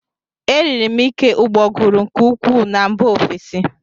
Eriri m ike ụgbọguru nke ukwuu na mba ofesi